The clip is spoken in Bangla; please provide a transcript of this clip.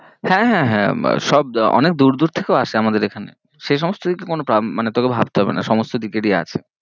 হ্যাঁ হ্যাঁ হ্যাঁ সব অনেক দূর দূর থেকেও আসে আমাদের এখানে, সেই সমস্ত দিক দিয়ে কোনো তোকে ভাবতে হবে না, সমস্ত দিক এর ই আছে।